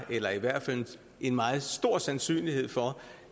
eller i hvert fald en meget stor sandsynlighed for